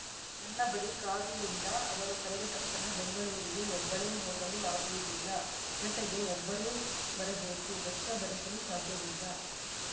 ನನ್ನ ಬಳಿ ಕಾರು ಇಲ್ಲ ಅವರು ಕರೆದ ತಕ್ಷಣ ಬೆಂಗಳೂರಿಗೆ ಒಬ್ಬಳೇ ಹೋಗಲು ಆಗುವುದಿಲ್ಲ ಜತೆಗೆ ಒಬ್ಬರು ಬರಬೇಕು ವೆಚ್ಚ ಭರಿಸಲು ಸಾಧ್ಯವಿಲ್ಲ